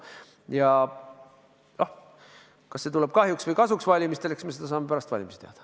Ja kas see tuleb kahjuks või kasuks, eks me seda saame pärast valimisi teada.